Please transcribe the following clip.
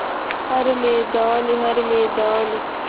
हर मैदान हर मैदान